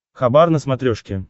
хабар на смотрешке